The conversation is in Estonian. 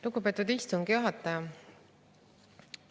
Lugupeetud istungi juhataja!